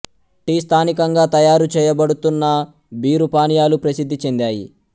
tea స్థానికంగా తయారు చేయబడుతున్న బీరు పానీయాలు ప్రసిద్ధి చెందాయి